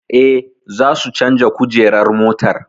Eh, za su canja kujerar motar